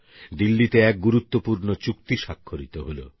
দিল্লীতে এক গুরুত্বপুর্ণ চুক্তি স্বাক্ষরিত হলো